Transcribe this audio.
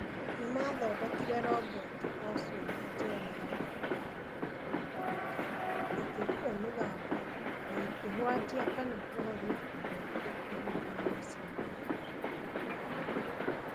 Nĩ maathondekire roboti ocio na njĩra ya ũũgĩ yagũthiĩ kũndũ kũingĩ, ikĩruta mĩgambo, na ikĩhwatia kana kũhoria ũtheri ikĩhũthĩra macini ya gũthuthuria rangi